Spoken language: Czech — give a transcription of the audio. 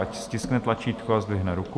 Ať stiskne tlačítko a zdvihne ruku.